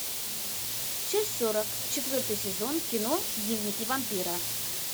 часть сорок четвертый сезон кино дневники вампира